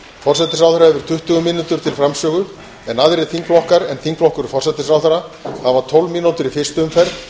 forsætisráðherra hefur tuttugu mínútur til framsögu en aðrir þingflokkar en þingflokkur forsætisráðherra hafa tólf mínútur í fyrstu umferð